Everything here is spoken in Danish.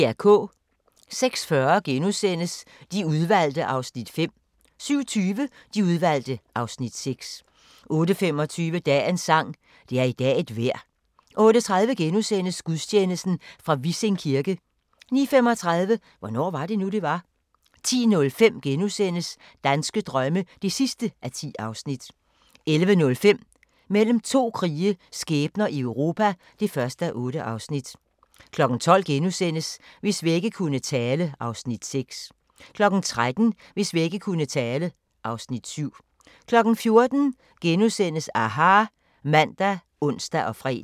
06:40: De Udvalgte (Afs. 5)* 07:20: De Udvalgte (Afs. 6) 08:25: Dagens sang: Det er i dag et vejr 08:30: Gudstjeneste fra Vissing kirke * 09:35: Hvornår var det nu, det var? 10:05: Danske drømme (10:10)* 11:05: Mellem to krige – skæbner i Europa (1:8) 12:00: Hvis vægge kunne tale (Afs. 6)* 13:00: Hvis vægge kunne tale (Afs. 7) 14:00: aHA! *(man og ons-fre)